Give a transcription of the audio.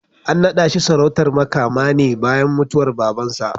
An naɗa shi sarautar Makama ne bayan mutuwar Babansa.